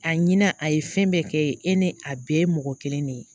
A ɲina a ye fɛn bɛɛ kɛ e ye e ni a bɛɛ ye mɔgɔ kelen de ye